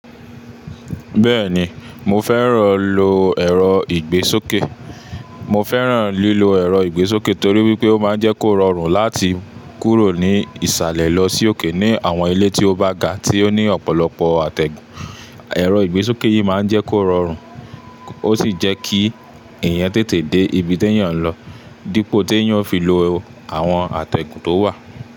Bẹ́ẹ̀ni, mo fẹ́ràn lílo ẹ̀rọ ìgbésókè torí wípé ó máa ń jẹ́ kó rọrùn láti kúrò ní ìsàlẹ̀ lọ sí òkè ní àwọn ilé tí ó bá ga tí ó ní ọ̀pọ̀lọpọ̀ àtẹ̀gùn. Ẹ̀rọ ìgbésókè yìí máa ń jẹ́ kó rọrùn, ó sì jẹ́ kí èèyàn tètè dé ibi tí èèyàn ń lọ dípò tí èèyàn ó fi lo àwọn àtẹ̀gùn tó wà.